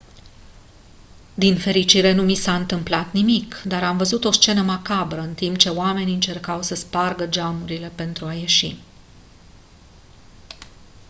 din fericire nu mi s-a întâmplat nimic dar am văzut o scenă macabră în timp ce oamenii încercau să spargă geamurile pentru a ieși